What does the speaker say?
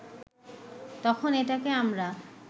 তখন এটাকে আমরা